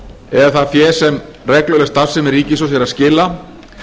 eða það fé sem regluleg starfsemi ríkissjóðs er að skila